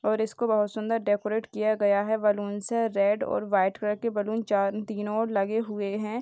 और इसको बहुत सुंदर डेकोरेट किया गया है बलून से रेड और वाइट कलर के बलून चार तीनों ओर लगे हुए हैं।